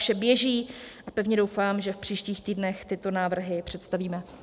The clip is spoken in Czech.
Vše běží a pevně doufám, že v příštích týdnech tyto návrhy představíme.